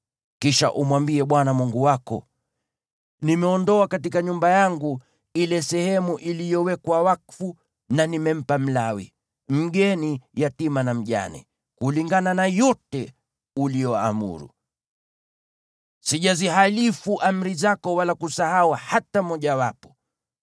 Kisha umwambie Bwana Mungu wako: “Nimeondoa katika nyumba yangu ile sehemu iliyowekwa wakfu na nimempa Mlawi, mgeni, yatima na mjane, kulingana na yote uliyoamuru. Sijazihalifu amri zako wala kusahau hata mojawapo.